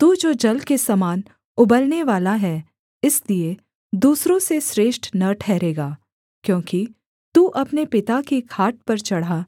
तू जो जल के समान उबलनेवाला है इसलिए दूसरों से श्रेष्ठ न ठहरेगा क्योंकि तू अपने पिता की खाट पर चढ़ा